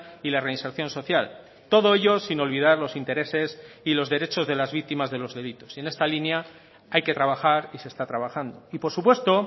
y la reinserción social todo ello sin olvidar los intereses y los derechos de las víctimas de los delitos y en esta línea hay que trabajar y se está trabajando y por supuesto